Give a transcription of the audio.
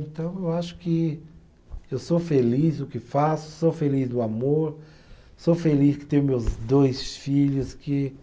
Então, eu acho que eu sou feliz no que faço, sou feliz no amor, sou feliz que tenho meus dois filhos, que